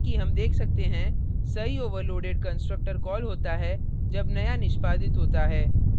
जैसे कि हम देख सकते हैं सही overloaded constructor कॉल होता है जब नया निष्पादित होता है